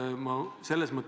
See summa on 2,5 miljonit eurot.